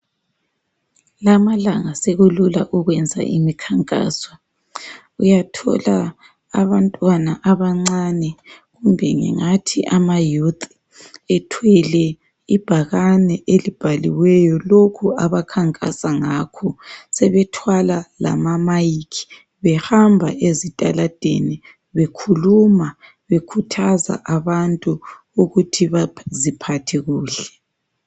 Lamalanga sekulula ukwenza imikhankaso. Uyathola abantwana abancane, kumbe ngingathi amayouth. Ethwele ibhakane, elibhaliweyo, lokho abakhankasa ngakho. Sebethwala lama-mike. Behamba ezitaladeni, bekhuluma. Bekhuthaza abantu ukuthi baziphathe kuhle.